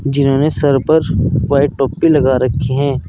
जिन्होंने सर पर वाइट टोपी लगा रखी हैं।